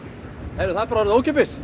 það er orðið ókeypis